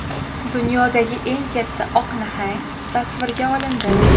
Dunyodagi eng katta oq nahang tasvirga olindi .